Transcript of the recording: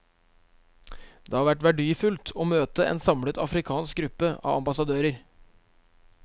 Det har vært verdifullt å møte en samlet afrikansk gruppe av ambassadører.